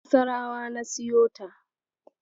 A Nassarawa na siyo ta.